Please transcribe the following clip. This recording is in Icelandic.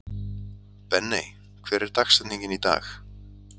Benney, hver er dagsetningin í dag?